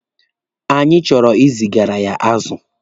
Anyị chọrọ izigaara ya azụ.